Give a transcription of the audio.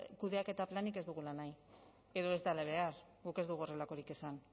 kudeaketa planik ez dugula nahi edo ez dela behar guk ez dugu horrelakorik esan